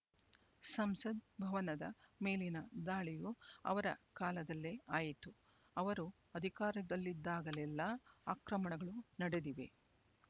ಸಂಸದ್ ಭವನದ ಮೇಲಿನ ದಾಳಿಯೂ ಅವರ ಕಾಲದಲ್ಲೇ ಆಯಿತು ಅವರು ಅಧಿಕಾರದಲ್ಲಿದ್ದಾಗಲೆಲ್ಲಾ ಆಕ್ರಮಣಗಳು ನಡೆದಿವೆ